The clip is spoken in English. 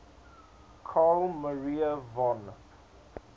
carl maria von